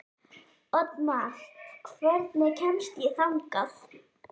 Oddmar, hvernig kemst ég þangað?